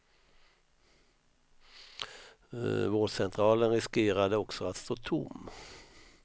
Vårdcentralen riskerade också att stå tom.